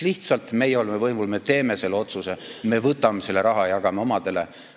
Lihtsalt meie oleme võimul, me teeme selle otsuse, me võtame selle raha ja jagame omadele.